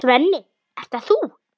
Svenni, ert það þú!?